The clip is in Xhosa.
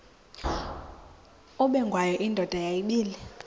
ubengwayo indoda yayibile